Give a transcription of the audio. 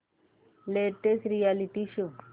latest reality show